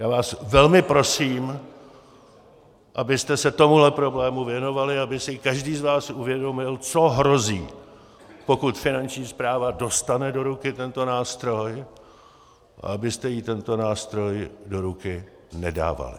Já vás velmi prosím, abyste se tomuto problému věnovali, aby si každý z vás uvědomil, co hrozí, pokud Finanční správa dostane do ruky tento nástroj, a abyste jí tento nástroj do ruky nedávali.